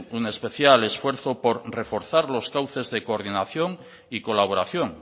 un especial esfuerzo por reforzar los cauces de coordinación y colaboración